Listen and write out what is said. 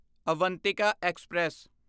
Avantika express